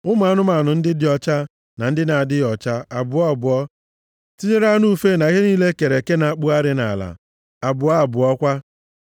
Ụmụ anụmanụ ndị dị ọcha, na ndị na-adịghị ọcha, abụọ abụọ, tinyere anụ ufe na ihe niile e kere eke na-akpụgharị nʼala, abụọ abụọ kwa,